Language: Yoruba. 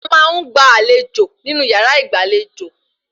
A máa ń gba àlejò nínú yàrá ìgbàlejò